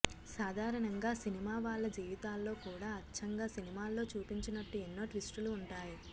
సాధారణంగా సినిమా వాళ్ళ జీవితాల్లో కూడా అచ్చంగా సినిమాల్లో చూపించినట్టు ఎన్నో ట్విస్టులు ఉంటాయి